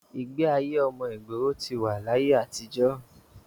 ìgbé ayé ọmọ ìgboro ti wà láti ayé àtijọ́ wá